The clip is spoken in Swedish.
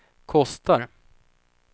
kostar